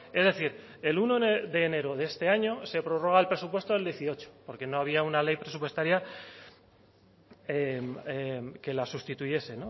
es decir el uno de enero de este año se prorroga el presupuesto del dieciocho porque no había una ley presupuestaria que la sustituyese